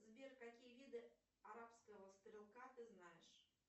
сбер какие виды арабского стрелка ты знаешь